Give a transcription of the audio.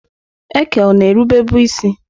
Eke ọ-na erube bụ isi?